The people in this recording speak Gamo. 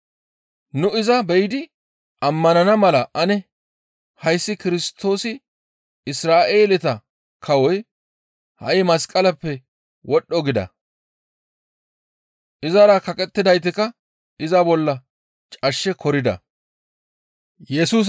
«Nu iza be7idi ammanana mala ane hayssi Kirstoosi Isra7eeleta kawoy ha7i masqaleppe wodhdho» gida. Izara kaqettidaytikka iza bolla cashshe korida.